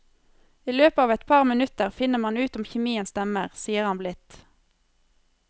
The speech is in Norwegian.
I løpet av etpar minutter finner man ut om kjemien stemmer, sier han blidt.